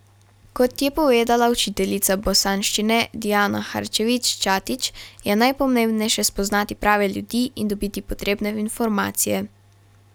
Kot je povedala učiteljica bosanščine Dijana Harčević Ćatić, je najpomembnejše spoznati prave ljudi in dobiti potrebne informacije.